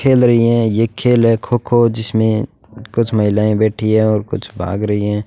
खेल रही है ये खेल है खो खो जिसमें कुछ महिलाएं बैठी है और कुछ भाग रही है।